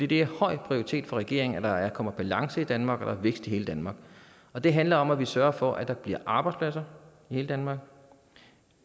det er en høj prioritet for regeringen at der kommer balance i danmark og er vækst i hele danmark og det handler om at vi sørger for at der bliver arbejdspladser i hele danmark og